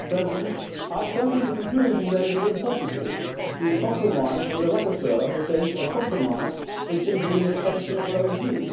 Mr President, I have come to the conclusion that it is impossible to compromise with a rapporteur who thinks a compromise is simply an extension of her own view.